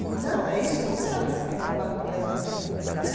Então, é isso que é trabalho cooperativo né.